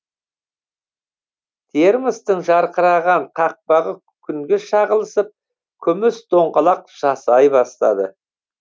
термостың жарқыраған қақпағы күнге шағылысып күміс доңғалақ жасай бастады